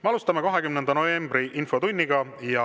Me alustame 20. novembri infotundi.